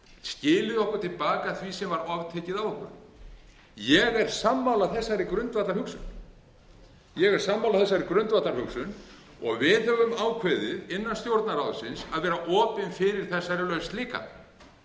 skilið okkur til baka því sem var oftekið af okkur ég er sammála þessari grundvallarhugsun og við höfum ákveðið innan stjórnarráðsins að vera opin fyrir þessari lausn líka